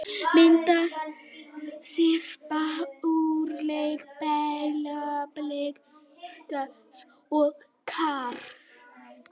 Myndasyrpa úr leik Breiðabliks og KR